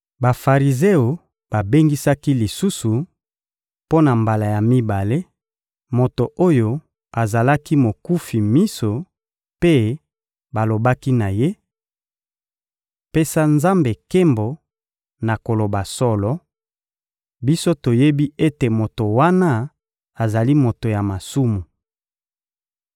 Bafarizeo babengisaki lisusu, mpo na mbala ya mibale, moto oyo azalaki mokufi miso mpe balobaki na ye: — Pesa Nzambe nkembo na koloba solo; biso toyebi ete moto wana azali moto ya masumu.